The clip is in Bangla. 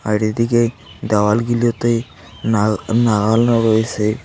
বাইরেদিকে দ্যাওয়ালগুলোতে নাল নাগানো রয়েসে।